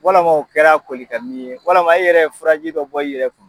Walamaw o kɛra koli ka min ye, walama a yɛrɛ fura ji dɔ bɔ i yɛrɛ kun.